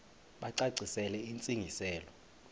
bacacisele intsi ngiselo